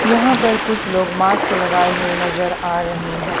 यहां पर कुछ लोग मास्क लगाएं हुए नजर आ रहे हैं।